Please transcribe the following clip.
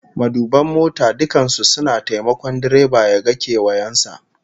Maduban mota dukkan su suna taimakon direba ya ga kewayen sa